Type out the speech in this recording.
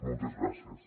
moltes gràcies